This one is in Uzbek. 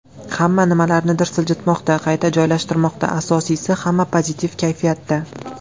Hamma nimalarnidir siljitmoqda, qayta joylashtirmoqda, asosiysi hamma pozitiv kayfiyatda!